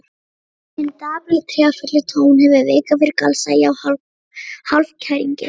Hinn dapri, tregafulli tónn hefur vikið fyrir galsa, já hálfkæringi.